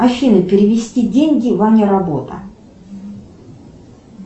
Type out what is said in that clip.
афина перевести деньги ваня работа